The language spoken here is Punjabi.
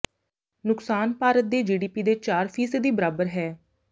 ਨੁਕਸਾਨ ਭਾਰਤ ਦੇ ਜੀਡੀਪੀ ਦੇ ਚਾਰ ਫੀਸਦੀ ਬਰਾਬਰ ਹੈ